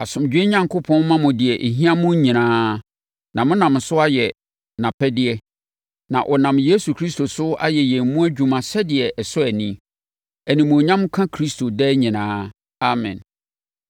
Asomdwoeɛ Onyankopɔn mma mo deɛ ɛhia mo nyinaa na monam so ayɛ nʼapɛdeɛ, na ɔnam Yesu Kristo so ayɛ yɛn mu adwuma sɛdeɛ ɛsɔ ani. Animuonyam nka Kristo daa nyinaa. Amen.